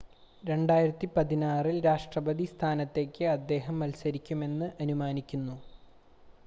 2016-ൽ രാഷ്‌ട്രപതി സ്ഥാനത്തേക്ക് അദ്ദേഹം മത്സരിക്കുമെന്ന് അനുമാനിക്കുന്നു